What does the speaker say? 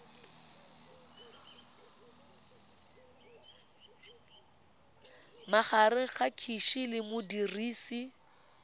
magareng ga gcis le modirisi